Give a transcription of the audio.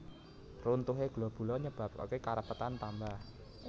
Runtuhé globula nyebabaké karapetan tambah